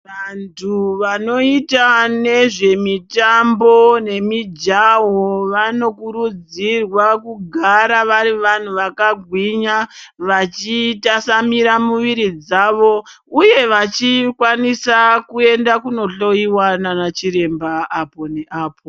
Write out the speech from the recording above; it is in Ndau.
Vantu vanoita nezvemitambo nemijaho vanokurudzirwa kugara vari vantu vakagwinya vachitwasanura mwiira dzavo uye vachikwanisa kuenda kunohloyiwa nana chiremba apo ne apo.